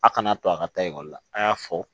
A kana to a ka taa ekɔli la a y'a fɔ